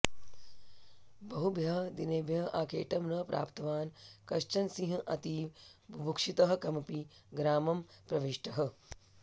बहुभ्यः दिनेभ्यः आखेटं न प्राप्तवान् कश्चन सिंहः अतीव बुभुक्षितः कमपि ग्रामं प्रविष्टः